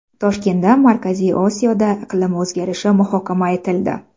Toshkentda Markaziy Osiyoda iqlim o‘zgarishi muhokama etildi.